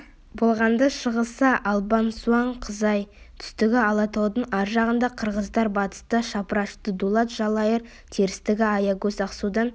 болғанда шығысы албан суан қызай түстігі алатаудың ар жағындағы қырғыздар батысы шапырашты дулат жалайыр терістігі аягөз ақсудан